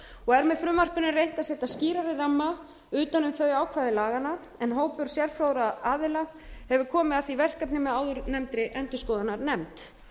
og er með frumvarpinu reynt að setja skýrari ramma utan um þau ákvæði laganna en hópur sérfróðra aðila hefur komið að því verkefni með áðurnefndri endurskoðunarnefnd